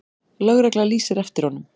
Lögregla lýsir eftir honum.